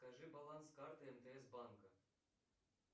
скажи баланс карты мтс банка